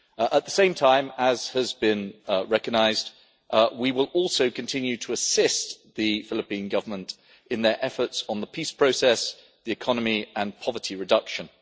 At the same time, as has been recognised, we will also continue to assist the Philippine Government in their efforts on the peace process, the economy and poverty reduction.